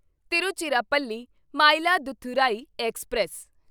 Tiruchirappalli Mayiladuthurai express